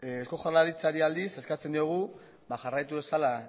eusko jaurlaritzari aldiz eskatzen diogu jarraitu dezala